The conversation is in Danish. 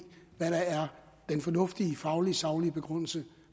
hvad der er den fornuftige faglige og saglige begrundelse